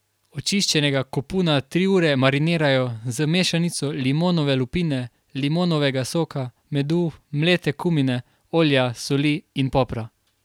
Očiščenega kopuna tri ure marinirajo z mešanico limonove lupine, limonovega soka, medu, mlete kumine, olja, soli in popra.